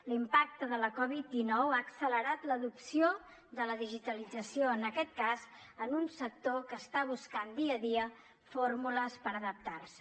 l’impacte de la covid dinou ha accelerat l’adopció de la digitalització en aquest cas en un sector que està buscant dia a dia fórmules per adaptar se